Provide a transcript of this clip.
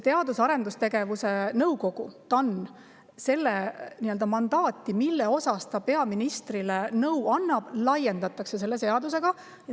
Teadus- ja Arendusnõukogu nii-öelda mandaati, mille kohta see peaministrile nõu annab, selle seadusega laiendatakse.